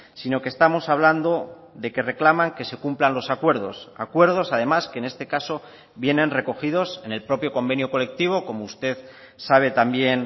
sino que estamos hablando de que reclaman que se cumplan los acuerdos acuerdos además que en este caso vienen recogidos en el propio convenio colectivo como usted sabe también